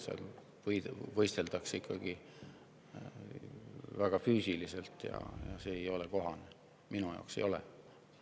Seal võisteldakse ikkagi väga füüsiliselt ja see ei ole kohane, minu jaoks ei ole.